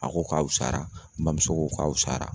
A ko k'a wusara n bamuso ko k'a wusara